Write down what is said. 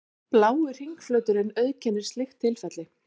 Blái hringflöturinn auðkennir slíkt tilfelli.